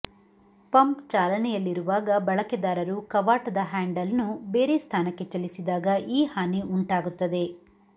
pump ಚಾಲನೆಯಲ್ಲಿರುವಾಗ ಬಳಕೆದಾರರು ಕವಾಟದ ಹ್ಯಾಂಡಲ್ನ್ನು ಬೇರೆ ಸ್ಥಾನಕ್ಕೆ ಚಲಿಸಿದಾಗ ಈ ಹಾನಿ ಉಂಟಾಗುತ್ತದೆ